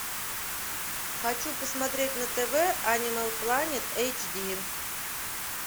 хочу посмотреть на тв анимал планет эйч ди